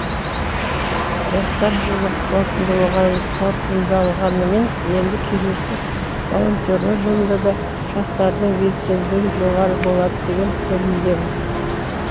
жастар жылы қорытындыланғанымен енді келесі волонтерлер жылында да жастардың белсенділігі жоғары болады деген сенімдеміз